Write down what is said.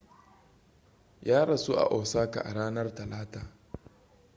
ya rasu a osaka a ranar talata